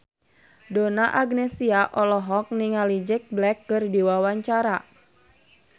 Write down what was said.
Donna Agnesia olohok ningali Jack Black keur diwawancara